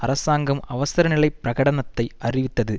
அரசாங்கம் அவசரநிலைப் பிரகடனத்தை அறிவித்தது